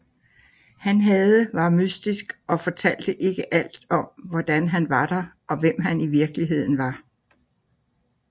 Han havde var mystisk og fortalte ikke alt om hvorfor han var der og hvem han var i virkeligheden